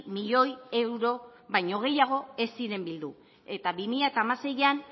milioi euro baino gehiago ez ziren bildu eta bi mila hamaseian